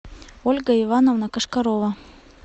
ольга ивановна кошкарова